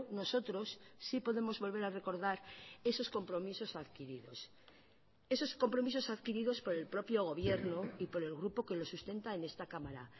nosotros sí podemos volver a recordar esos compromisos adquiridos esos compromisos adquiridos por el propio gobierno y por el grupo que lo sustenta en esta cámara